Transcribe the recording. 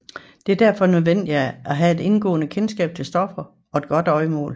Det er derfor nødvendigt at have et indgående kendskab til stoffer og et godt øjemål